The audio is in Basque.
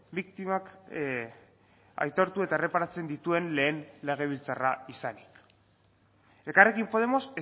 biktimak aitortu eta erreparatzen dituen lehen legebiltzarra izanik elkarrekin podemos